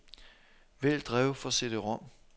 Vælg drev for cd-rom.